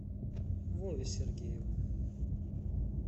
вове сергееву